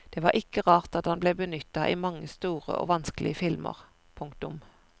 Det var ikke rart at han ble benyttet i mange store og vanskelige filmer. punktum